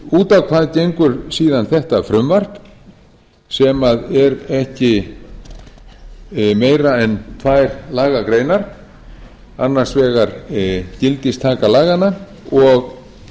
út á það gengur síðan þetta frumvarp sem er ekki meira en tvær lagagreinar annars vegar gildistaka laganna og